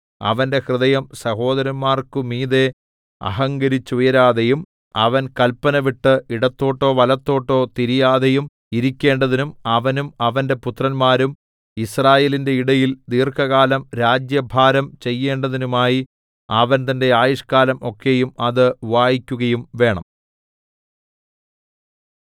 അവന്റെ ഹൃദയം സഹോദരന്മാർക്കു മീതെ അഹങ്കരിച്ചുയരാതെയും അവൻ കല്പന വിട്ട് ഇടത്തോട്ടോ വലത്തോട്ടോ തിരിയാതെയും ഇരിക്കേണ്ടതിനും അവനും അവന്റെ പുത്രന്മാരും യിസ്രായേലിന്റെ ഇടയിൽ ദീർഘകാലം രാജ്യഭാരം ചെയ്യേണ്ടതിനുമായി അവൻ തന്റെ ആയുഷ്ക്കാലം ഒക്കെയും അത് വായിക്കുകയും വേണം